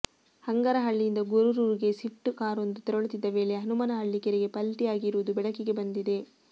ಹಂಗರಹಳ್ಳಿಯಿಂದ ಗೊರೂರಿಗೆ ಸಿಫ್ಟ್ ಕಾರೊಂದು ತೆರಳುತ್ತಿದ್ದ ವೇಳೆ ಹನುಮನಹಳ್ಳಿ ಕೆರೆಗೆ ಪಲ್ಟಿಯಾಗಿರುವುದು ಬೆಳಕಿಗೆ ಬಂದಿದೆ